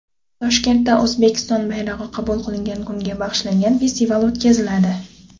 Toshkentda O‘zbekiston bayrog‘i qabul qilingan kunga bag‘ishlangan festival o‘tkaziladi.